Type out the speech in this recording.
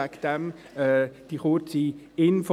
Deshalb diese kurze Info.